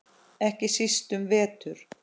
Ekki síst um vetur.